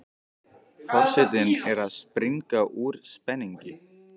Forsetinn er að springa úr spenningi.